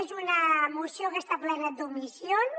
és una moció que està plena d’omissions